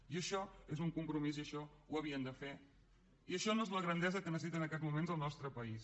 i això és un compromís i això ho havien de fer i això no és la grandesa que necessita en aquests moments el nostre país